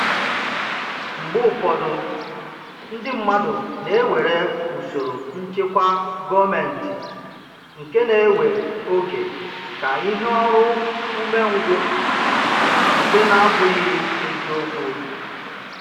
Mgbe ụfọdụ, ndị mmadụ na-ewere usoro nchịkwa gọọmentị nke na-ewe oge ka ihe ọrụ ume ngwụ, nke nabụghị ezi okwu